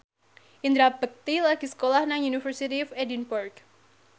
Indra Bekti lagi sekolah nang University of Edinburgh